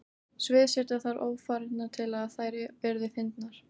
Sviðsetja þarf ófarirnar til að þær verði fyndnar.